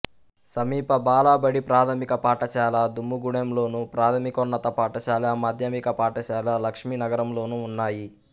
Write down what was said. సమీప బాలబడి ప్రాథమిక పాఠశాల దుమ్ముగూడెంలోను ప్రాథమికోన్నత పాఠశాల మాధ్యమిక పాఠశాల లక్ష్మీనగరంలోనూ ఉన్నాయి